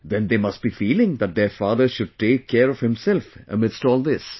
Then they must be feeling that their father should take care of himself amidst all this